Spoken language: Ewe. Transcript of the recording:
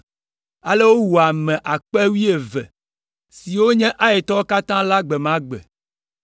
Ale wowu ame akpe wuieve (12,000) siwo nye Aitɔwo katã la gbe ma gbe.